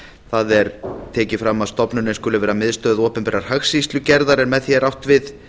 það er tekið fram að stofnunin skuli vera miðstöð opinberrar hagskýrslugerðar en með því er átt við